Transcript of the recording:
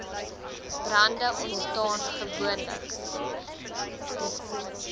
brande ontstaan gewoonlik